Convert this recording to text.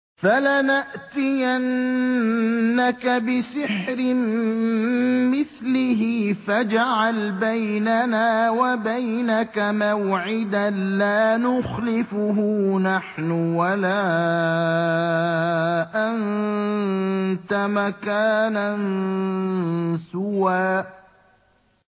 فَلَنَأْتِيَنَّكَ بِسِحْرٍ مِّثْلِهِ فَاجْعَلْ بَيْنَنَا وَبَيْنَكَ مَوْعِدًا لَّا نُخْلِفُهُ نَحْنُ وَلَا أَنتَ مَكَانًا سُوًى